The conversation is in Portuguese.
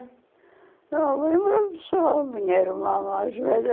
Não, me lembro só a minha irmã mais velha